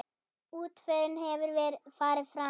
Útförin hefur farið fram.